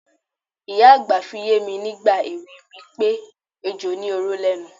Ìyá àgbà fi yé mi nígbà èwe mi pé ejò ní oró lé̩nu.